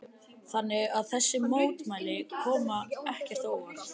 Lillý Valgerður: Þannig að þessi mótmæli koma ekkert á óvart?